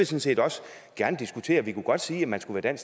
set også gerne diskutere det kunne godt sige at man skulle være